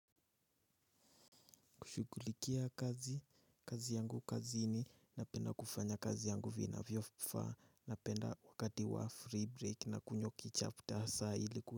Kushugulikia kazi kazi yangu kazini na penda kufanya kazi yangu vina vyofaa na penda wakati wa free break na kunyoki chapter saa iliku.